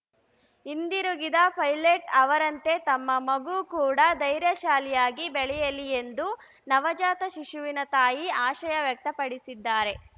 ಹಿಂದಿರುಗಿದ ಪೈಲಟ್‌ ಅವರಂತೆ ತಮ್ಮ ಮಗು ಕೂಡ ಧೈರ್ಯಶಾಲಿಯಾಗಿ ಬೆಳೆಯಲಿ ಎಂದು ನವಜಾತ ಶಿಶುವಿನ ತಾಯಿ ಆಶಯ ವ್ಯಕ್ತಪಡಿಸಿದ್ದಾರೆ